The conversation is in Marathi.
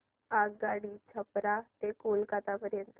आगगाडी छपरा ते कोलकता पर्यंत